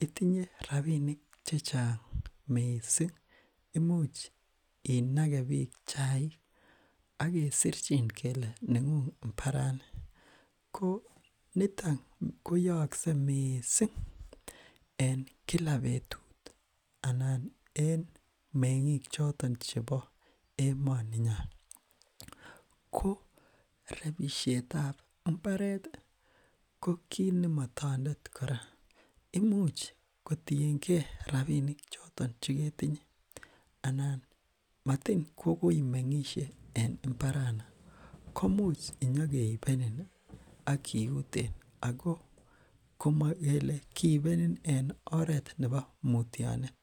itinye rapinik chechang mising imuch inakee biik chaik okersirchin kele nengung mbarani ko niton koyokse mising en kila betut anan en menging chotok chebo emoninyon ko repishetab mbareti kokit nemotondet kora imuch kotienge rapinik choton cheketinye anan motin kokoimengishe en mbarani komuch kinyokeibenin ak kiuten ako komokele kiibenin en oret nebo mutionet